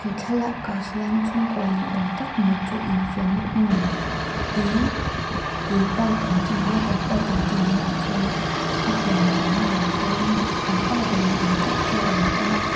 he thlalak ah hian chhungkua ni awm tak mai chu infiam na hmun tui tui park an tih water park an tih mai ah chuan hetiang tawlh na ah hian mi an pa ber ni awm tak chu alo awm a.